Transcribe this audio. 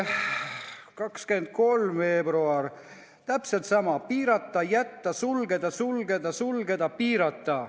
Ka 23. veebruari protokollis on täpselt sama: piirata, ära jätta, sulgeda, sulgeda, sulgeda, piirata.